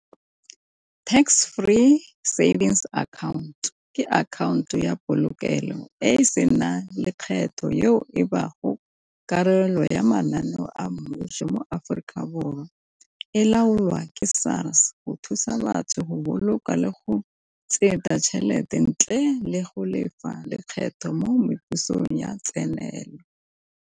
Tax free savings account ke akhaonto ya polokelo e sena lekgetho yo e karolelo ya mananeo a mmuso mo Aforika Borwa, e laolwa ke SARS go thusa batho go boloka le go tšhelete ntle le go lefa lekgetho mo mebusong ya tsenelelo.